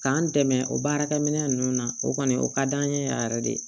K'an dɛmɛ o baarakɛ minɛ ninnu na o kɔni o ka d'an ye yan yɛrɛ de